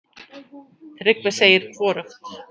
Tryggvi segir hvorugt.